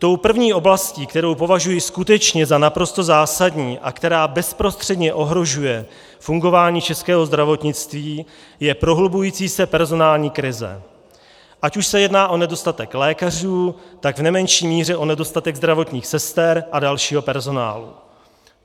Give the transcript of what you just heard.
Tou první oblastí, kterou považuji skutečně za naprosto zásadní a která bezprostředně ohrožuje fungování českého zdravotnictví, je prohlubující se personální krize, ať už se jedná o nedostatek lékařů, tak v nemenší míře o nedostatek zdravotních sester a dalšího personálu.